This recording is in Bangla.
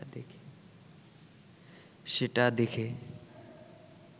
সেটা দেখে